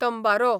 तंबारो